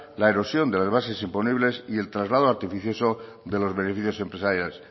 la erosión de las bases imponibles y el traslado artificioso de los beneficios empresariales